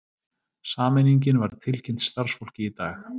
Sameiningin var tilkynnt starfsfólki í dag